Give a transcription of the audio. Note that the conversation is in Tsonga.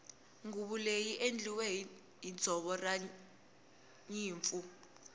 nguvu leyi i endliwile hi ndzoro ranyimpfu